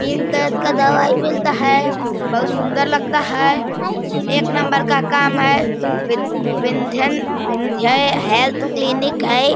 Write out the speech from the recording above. पेट दर्द का दवाई मिलता है। बहोत सुंदर लगता है। एक नंबर का काम है। वि विंध्यन विंध्य हेल्थ क्लिनिक है।